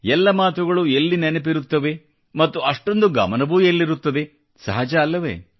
ಎಲ್ಲ ಮಾತುಗಳು ಎಲ್ಲಿ ನೆನಪಿರುತ್ತವೆ ಮತ್ತು ಅಷ್ಟೊಂದು ಗಮನವೂ ಎಲ್ಲಿರುತ್ತದೆ ಸಹಜ ಅಲ್ಲವೇ